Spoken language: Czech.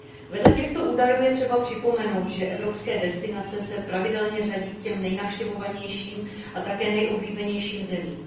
Vedle těchto údajů je třeba připomenout, že evropské destinace se pravidelně řadí k těm nejnavštěvovanějším a také nejoblíbenějším zemím.